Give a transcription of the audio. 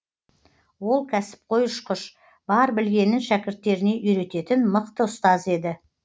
ол кәсіпқой ұшқыш бар білгенін шәкірттеріне үйрететін мықты ұстаз еді